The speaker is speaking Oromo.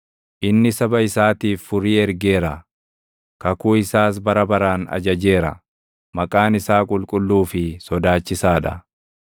Inni saba isaatiif furii ergeera; kakuu isaas bara baraan ajajeera; maqaan isaa qulqulluu fi sodaachisaa dha.